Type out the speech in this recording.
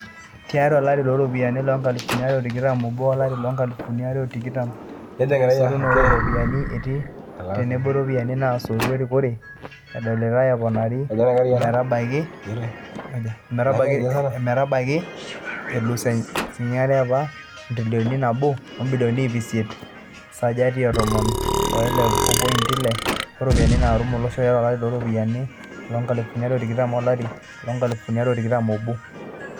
Tiatu olari looropiyiani loonkalifuni are o tikitam obo o lari loonkalifuni are o tikitam are esotunoto o ropiyiani etii tenebo iropiyani naasotu erikore edolitay eponari ometabaiki intirilioni are (Esajati etomon oile opointi onguan ooropiyani naatum olosho) elus enaanyitay apa e ntrilion nabo o bilioni iip isiet ( sajati etomon oile opointi ile oropiyani naatum olosho) tiatu olari looropiyani loonkalifuni are o tikitam o lari loonkalifuni are o tikitam o obo.